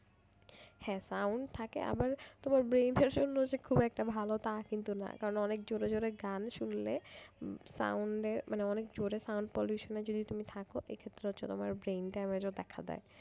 হ্যাঁ sound থাকে আবার তোমার brain এর জন্য যে খুব একটা ভালো তা কিন্তু না কারণ অনেক জোরে জোরে গান শুনলে sound এ মানে অনেক জোরে sound pollution এ যদি তুমি থাকো এক্ষেত্রে হচ্ছে তোমার brain damage ও দেখা দেয়।